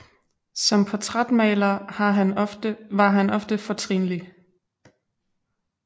Som portrætmaler var han ofte fortrinlig